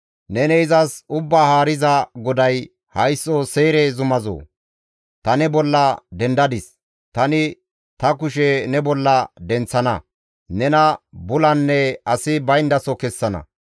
Neni izas Ubbaa Haariza GODAY, ‹Haysso Seyre zumazoo! Ta ne bolla dendadis; tani ta kushe ne bolla denththana; nena bulanne asi bayndaso kessana.